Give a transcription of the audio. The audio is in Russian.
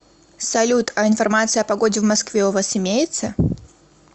салют а информация о погоде в москве у вас имеется